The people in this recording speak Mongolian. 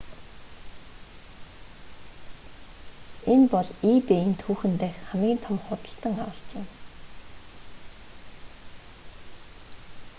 энэ бол ebay-н түүхэн дэх хамгийн том худалдан авалт юм